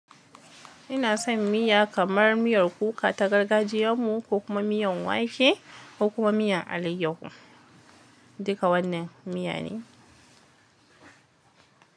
Inason miya kamar miyan kuka ta gargajiyan mu ko kuma miyan wake ko kuma miyan alayyahu. Duka wannan miya ne.